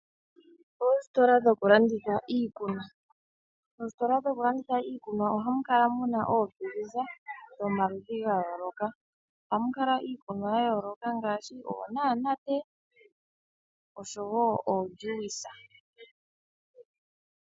Oositola dhoku landitha iikunwa, moostola ohamu kala muna oofiliza dhoma ludhi ga yooloka ohamu kala iikunwa ya yooloka ngaashi oonanate noojuica.